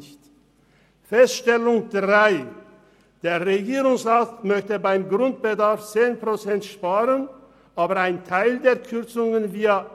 Dritte Feststellung: Der Regierungsrat möchte beim Grundbedarf 10 Prozent sparen, aber einen Teil der Kürzungen via